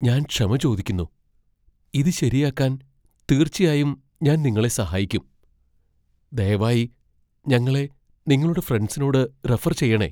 ഞാൻ ക്ഷമ ചോദിക്കുന്നു, ഇത് ശെരിയാക്കാൻ തീർച്ചയായും ഞാൻ നിങ്ങളെ സഹായിക്കും. ദയവായി ഞങ്ങളെ നിങ്ങളുടെ ഫ്രണ്ട്സിനോട് റഫർ ചെയ്യണേ